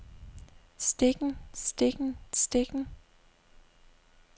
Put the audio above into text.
stikken stikken stikken